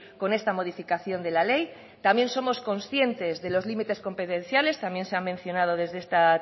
con esta modificación de la ley también somos conscientes de los límites competenciales también se ha mencionado desde esta